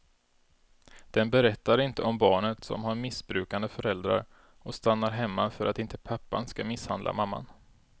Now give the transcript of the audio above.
Den berättar inte om barnet som har missbrukande föräldrar och stannar hemma för att inte pappan ska misshandla mamman.